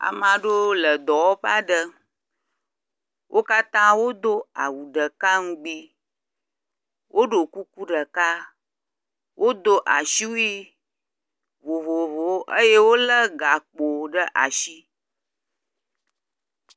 Ame aɖewo le dɔwɔƒe aɖe. Wo katã wodo awu ɖeka nugbi. Woɖo kuku ɖeka, woɖo asiwui vovovowo eye wolé gakpo ɖe asi.